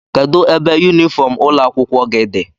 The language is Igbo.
kedụ ebe yunifọm ụlọ akwụkwọ gị dị?